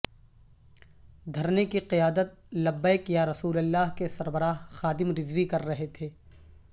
دھرنے کی قیادت لبیک یا رسول اللہ کے سربراہ خادم رضوی کر رہے تھے